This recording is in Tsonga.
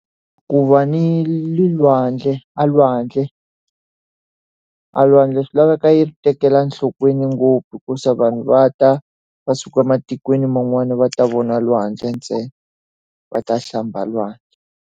Ku va ni lwandle a lwandle, a lwandle swi laveka hi ri tekela nhlokweni ngopfu hikuva vanhu va ta va suka ematikweni man'wana va ta vona lwandle ntsena, va ta hlamba lwandle.